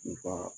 I ka